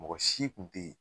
Mɔgɔsi kun te yen